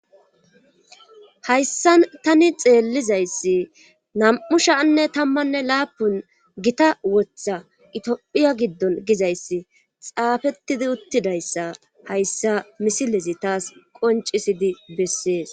hayssa tani xeellizayssi nam7u shaanne tammanne laapun gita woththa itophiya giddon gizayssi xaafettidi uttidayssa hayssa misilezi taas qoncisidi bessees